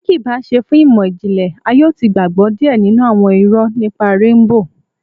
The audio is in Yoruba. Tí kìí bá ṣe fún ìmọ̀-jinlẹ, a yóò ti gbàgbọ́ díẹ̀ nínú àwọn irọ nípa Réńbò